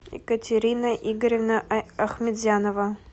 екатерина игоревна ахметзянова